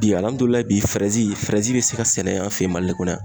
Bi bi fɛrɛzi, be se ka sɛnɛ an fɛ yan mali kɔnɔ yan.